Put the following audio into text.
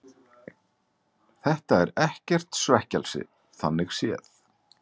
Þetta er ekkert svekkelsi þannig séð.